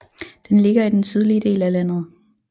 Den ligger i den sydlige del af landet